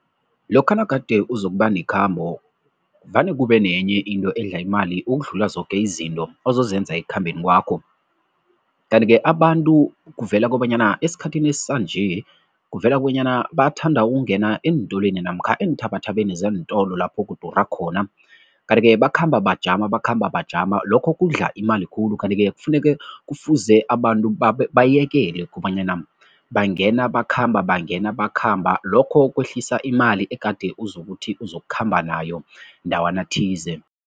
Lokha nagade uzokuba nekhambo vane kube nenye into edla imali ukudlula zoke izinto ozozenza ekukhambeni kwakho. Kanti-ke abantu kuvela kobanyana esikhathini sanje, kuvela kobonyana bathanda ukungena eentolweni namkha eenthabathabeni zeentolo lapho kudura khona kanti-ke bakhamba bajama, bakhamba bajama, lokho kudla imali khulu. Kanti-ke kufuneke kufuze abantu bayekele kobanyana bangena bakhamba, bangena bakhamba, lokho kwehlisa imali egade uzokuthi uzokukhamba nayo ndawana thize.